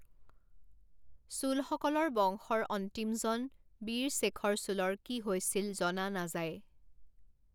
চোলসকলৰ বংশৰ অন্তিমজন, বিৰশেখৰ চোলৰ কি হৈছিল জনা নাযায়।